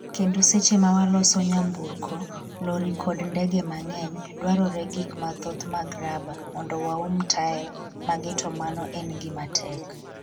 Kendo seche mawaloso nyamburko, lori kod ndege mang’eny, dwarore gik mathoth mag raba mondo waum tael mage to mano en gima tek.